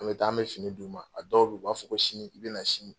An bɛ taa an bɛ fini d'u ma, a dɔw bɛ yen u b'a fɔ ko sini , i bɛ na sini.